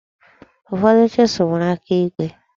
Ụfọdụ chisụl nwere aka igwe.